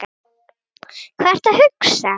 Hvað ertu að hugsa?